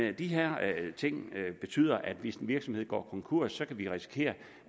at de her ting betyder at hvis en virksomhed går konkurs kan vi risikere